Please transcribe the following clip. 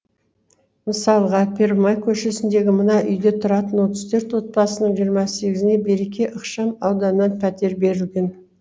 мысалға первомай көшесіндегі мына үйде тұратын отыз төрт отбасының жиырма сегізіне береке ықшам ауданынан пәтер берілген